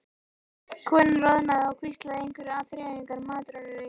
Konan roðnaði og hvíslaði einhverju að þreifingar- matrónunni.